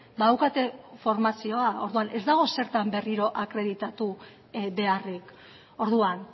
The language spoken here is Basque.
badaukate formazioa orduan ez dago zertan berriro akreditatu beharrik orduan